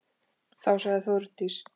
Þá sagði Þórdís